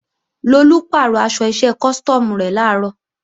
Lolú pàrọ̀ aṣọ iṣẹ́ custom rẹ̀ làárọ̀